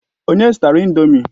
Onye zụtara ị̀ndómị́?